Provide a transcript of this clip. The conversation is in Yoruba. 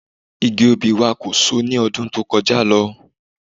Igi obì wa kò so ní ọdún tó kọjá lọ